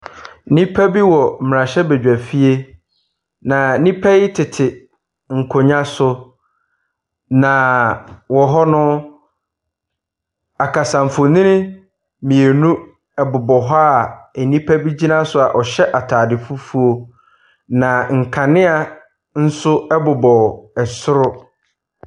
Abrɔfo bi tete pono ho a nsuo wɔ bottle mu si so. Kuruwa nso si so. Na wɔn anim no ɔbasia baako gyina hɔnom a ɔrekyerɛ wɔn ade. Na basia no nifa so no, bɔɔdo wɔ hɔnom a yɛtwerɛ adeɛ wɔ so.